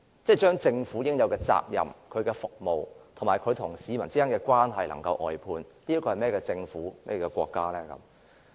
把應有的責任、服務，以及和市民建立的關係外判，這是一個怎麼樣的國家和政府？